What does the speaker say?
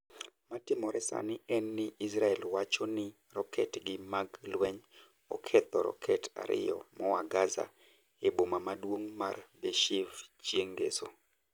Matimore sani en ni Israel wacho ni roket gi mag lweny oketho roket ariyo moa gaza e boma maduong' mar Beershev chieng' ngeso.